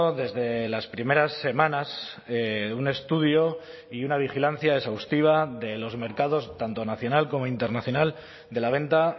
desde las primeras semanas un estudio y una vigilancia exhaustiva de los mercados tanto nacional como internacional de la venta